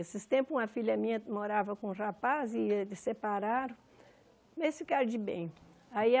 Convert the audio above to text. Esses tempos, uma filha minha morava com um rapaz e eles separaram, eles ficaram de bem. Aí a